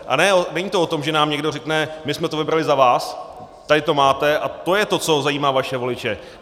A není to o tom, že nám někdo řekne: my jsme to vybrali za vás, tady to máte a to je to, co zajímá vaše voliče.